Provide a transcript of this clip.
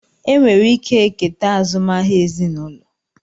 Enwere ike eketa azụmahịa ezinụlọ